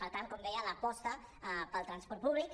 per tant com deia l’aposta per al transport públic